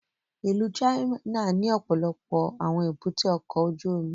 Ìlú China ni ọpọlọpọ awọn èbúté ọkọ ojú omi